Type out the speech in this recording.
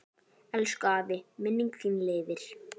Elsku afi, minning þín lifir.